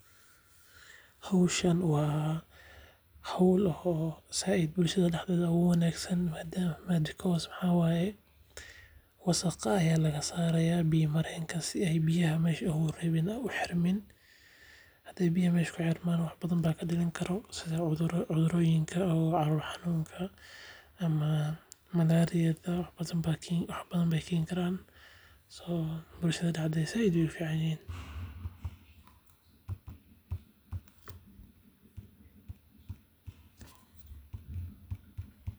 Howshan waa howl oo zaaid bulshada dhaxdeeda ogu wanaagsan, tan madada kahoose waxa waye wasaqa aya laga saaraya biya marenka si ay biyaha mrsha ogu reebin oo u xirmiin hadii biyaha mesha kuxirman wax badan baa kadhalan karo sida cuduroyinka ama calol canuunka ama malaryada wax badan Bay keeni karan so bulshada dhaxdeeda zaaid wayy u fican yihiin